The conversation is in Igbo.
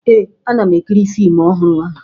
Ee, ana m ekiri fiimu ọhụrụ ahụ